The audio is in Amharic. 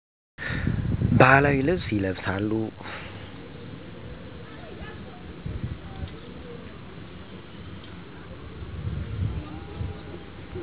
ባህላዊ ልብስ ይለብሳሉ።